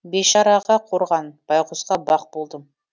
бейшараға қорған байғұсқа бақ болдым